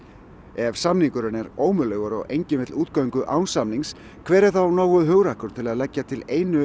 ef samningurinn er ómögulegur og enginn vill útgöngu án samnings hver er þá nógu hugrakkur til að leggja til einu